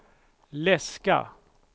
läska